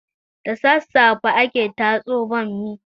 Da sasafe ake tatso bammi